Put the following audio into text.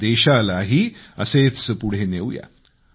आणि देशालाही असेच पुढे नेऊया